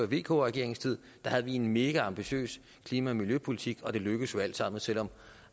vk regeringens tid havde vi en megaambitiøs klima og miljøpolitik og det lykkedes jo alt sammen selv om